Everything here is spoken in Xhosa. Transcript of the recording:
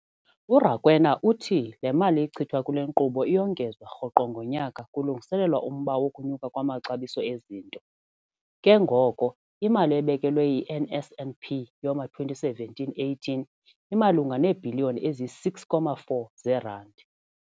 URakwena uthi le mali ichithwa kule nkqubo iyongezwa rhoqo ngonyaka kulungiselelwa umba wokunyuka kwamaxabiso ezinto, ke ngoko imali ebekelwe i-NSNP yowama-2017-18 imalunga neebhiliyoni eziyi-6.4 zeerandi.